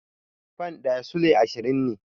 Fan ɗaya Sulai ashirin ne